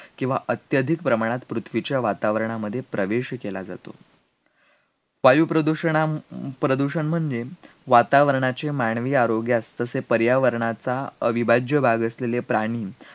किंवा अत्यधिक प्रमाणात पृथ्वीच्या वातावरणामध्ये प्रवेश केला जातो, वायू प्रदूषणा अं प्रदूषण म्हणजे वातावरणाचे मानवी आरोग्यास तसेच पर्यावरणाचा अविभाज्य भाग असलेले प्राणी,